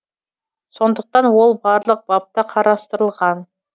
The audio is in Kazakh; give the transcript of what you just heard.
сондықтан ол барлық бапта қарастырылған